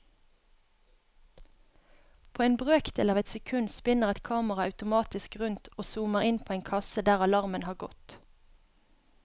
På en brøkdel av et sekund spinner et kamera automatisk rundt og zoomer inn på en kasse der alarmen har gått.